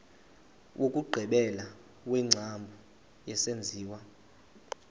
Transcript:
wokugqibela wengcambu yesenziwa